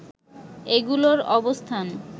এগুলোর অবস্থান